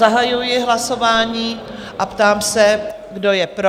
Zahajuji hlasování a ptám se, kdo je pro?